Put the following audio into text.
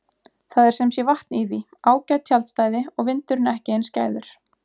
Það er sem sé vatn í því, ágæt tjaldstæði og vindurinn ekki eins skæður.